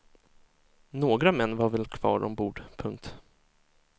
Några män var väl kvar ombord. punkt